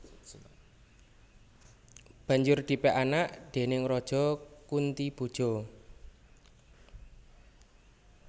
Banjur dipek anak déning Raja Kuntiboja